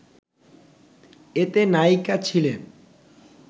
এতে নায়িকা ছিলেন